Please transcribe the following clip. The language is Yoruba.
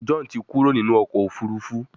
John tí Kúrò nínú ọkọ̀ òfurufú.